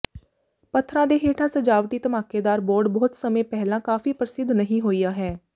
ਪੱਥਰਾਂ ਦੇ ਹੇਠਾਂ ਸਜਾਵਟੀ ਧਮਾਕੇਦਾਰ ਬੋਰਡ ਬਹੁਤ ਸਮੇਂ ਪਹਿਲਾਂ ਕਾਫੀ ਪ੍ਰਸਿੱਧ ਨਹੀਂ ਹੋਇਆ ਹੈ